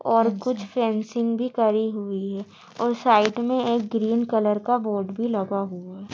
और कुछ फेंसिंग भी करी हुई है और साइड में एक ग्रीन कलर का बोर्ड भी लगा हुआ है।